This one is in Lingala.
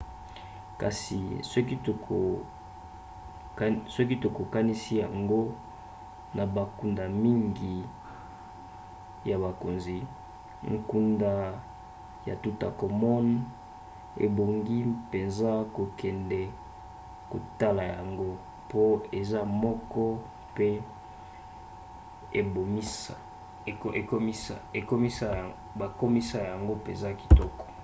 kasi soki tokokanisi yango na bankunda mingi ya bakonzi nkunda ya toutankhamon ebongi mpenza kokende kotala yango mpo eza moko mpe bakomisa yango mpenza kitoko